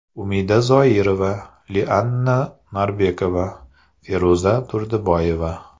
Umida Zoirova, Lianna Norbekova, Feruza Turdiboyeva.